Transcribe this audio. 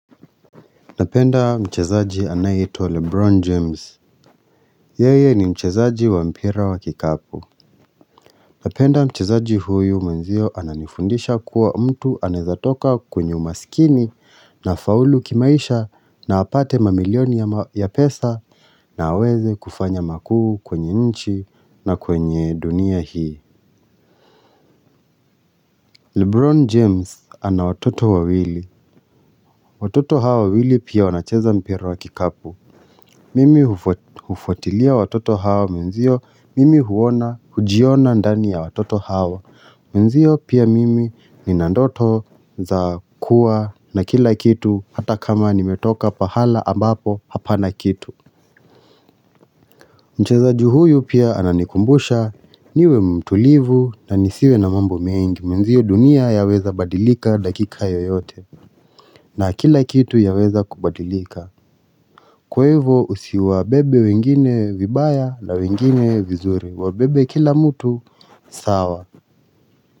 Napenda mchezaji anayitwa Lebron James Yeye ni mchezaji wa mpira wa kikapu Napenda mchezaji huyu menzio ananifundisha kuwa mtu anezatoka kwenye umasikini na faulu kimaisha na wapate mamilioni ya pesa na aweze kufanya makuu kwenye nchi na kwenye dunia hii Lebron James ana watoto wa wili Watoto hawa wili pia wanacheza mpira wa kikapu Mimi ufuatilia watoto hawa menzio, mimi huona, hujiona ndani ya watoto hawa Menzio pia mimi ninandoto za kuwa na kila kitu hata kama nimetoka pahala ambapo hapa na kitu Mchezaji huyu pia ananikumbusha niwe mtulivu na nisiwe na mambo mengi Menzio dunia ya weza badilika dakika yoyote na kila kitu ya weza kubadilika Kwevo usiwa bebe wengine vibaya la wengine vizuri wa bebe kila mutu sawa.